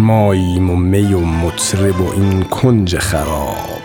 ماییم و می و مطرب و این کنج خراب